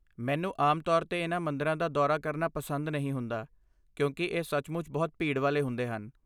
ਮੈਨੂੰ ਆਮ ਤੌਰ 'ਤੇ ਇਨ੍ਹਾਂ ਮੰਦਰਾਂ ਦਾ ਦੌਰਾ ਕਰਨਾ ਪਸੰਦ ਨਹੀਂ ਹੁੰਦਾ ਕਿਉਂਕਿ ਇਹ ਸੱਚਮੁੱਚ ਬਹੁਤ ਭੀੜ ਵਾਲੇ ਹੁੰਦੇ ਹਨ।